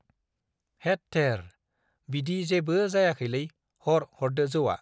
हेत थेर बिदि जेबो जायाखैलै हर हरदो जौवा